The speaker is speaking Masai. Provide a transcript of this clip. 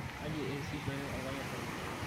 kaji eesishore olpayian lenye?